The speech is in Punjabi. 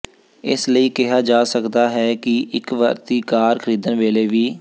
ਇਸ ਲਈ ਕਿਹਾ ਜਾ ਸਕਦਾ ਹੈ ਕਿ ਇਕ ਵਰਤੀ ਕਾਰ ਖਰੀਦਣ ਵੇਲੇ ਵੀ